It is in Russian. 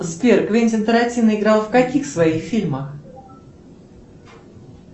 сбер квентин тарантино играл в каких своих фильмах